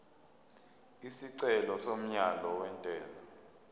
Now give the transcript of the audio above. isicelo somyalo wentela